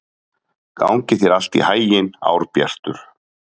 Gangi þér allt í haginn, Árbjartur.